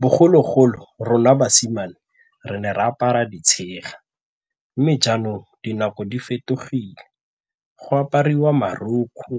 Bogologolo, rona basimane re ne re apara ditshega mme jaanong dinako di fetogile go apariwa marokgwe,